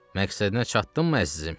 Məqsədinə çatdınmı əzizim?